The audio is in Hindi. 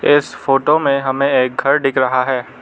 इस फोटो में हमें एक घर दिख रहा है।